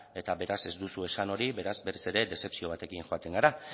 eta beraz ez duzu esan hori beraz berriz ere dezepzio batekin joaten gara